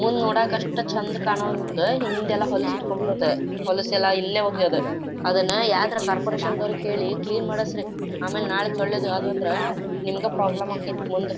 ಮುಂದ್ ನೋಡಕ್ ಅಷ್ಟ್ ಚೆಂದ ಕಾಣೊವಲ್ದು ಹಿಂದ್ ಎಲ್ಲಾ ಹೊಲಸ್ ಇಟ್ಕೊಂಡ್ ಬಿಡೋದು. ಹೊಲಸೆಲ್ಲ ಇಲ್ಲೇ ಒಗೆಯೋದು ಅದನ್ನ ಯಾವಾದರೂ ಕಾರ್ಪೋರೇಶನ್ ದವ್ರಿಗೆ ಹೇಳಿ ಕ್ಲೀನ್ ಮಾಡ್ಸಿ. ಆಮೇಲ್ ನಾಳೆ ಸೊಳ್ಳೆ ಆದ್ವ್ ಅಂದ್ರ ನಿಮಗೆ ಪ್ರಾಬ್ಲಮ್ ಆಕ್ಕೆತಿ ಮುಂದ.